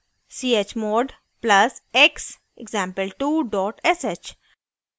chmod plus x example2 dot sh